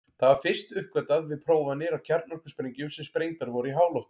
Það var fyrst uppgötvað við prófanir á kjarnorkusprengjum sem sprengdar voru í háloftum.